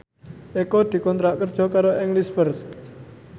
Eko dikontrak kerja karo English First